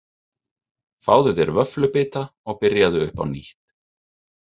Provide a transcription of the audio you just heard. Fáðu þér vöfflubita og byrjaðu upp á nýtt.